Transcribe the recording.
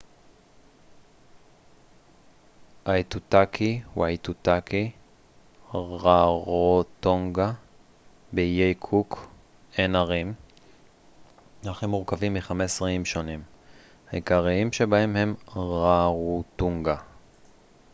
באיי קוק אין ערים אך הם מורכבים מ-15 איים שונים. העיקריים שבהם הם רארוטונגה rarotonga ואיטוטאקי aitutaki